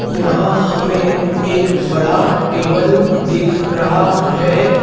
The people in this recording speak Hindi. यहां हमें एक बड़ा टेबल दिख रहा है।